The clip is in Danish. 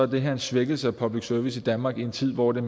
det her en svækkelse af public service i danmark i en tid hvor det